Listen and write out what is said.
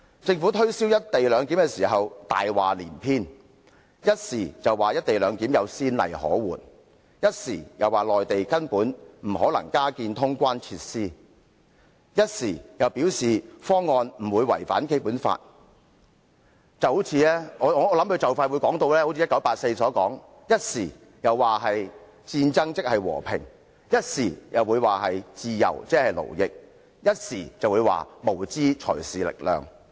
政府推銷"一地兩檢"時，謊話連篇，一方面說"一地兩檢"有先例可援，另一方面又說內地根本不可能加建通關設施，但又表示方案不會違反《基本法》，我相信政府或許會如《1984》般，一會說戰爭即和平，一會又說自由即勞役，又或會說無知才是力量。